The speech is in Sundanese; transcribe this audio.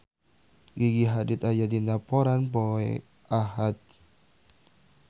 Gigi Hadid aya dina koran poe Ahad